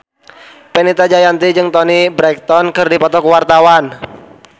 Fenita Jayanti jeung Toni Brexton keur dipoto ku wartawan